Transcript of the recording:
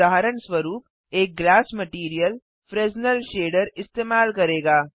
उदाहरणस्वरुप एक glass material Fresnel shader इस्तेमाल करेगा